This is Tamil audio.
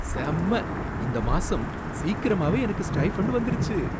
செம்ம! இந்த மாசம் சீக்கிரமாவே எனக்கு ஸ்டைஃபன்டு வந்துருச்சு